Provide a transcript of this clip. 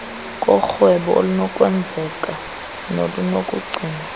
korhwebo olunokwenzeka nolunokugcinwa